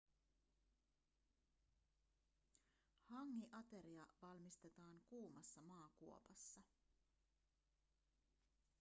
hangi-ateria valmistetaan kuumassa maakuopassa